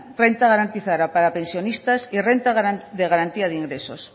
renta garantizada para pensionistas y renta de garantía de ingresos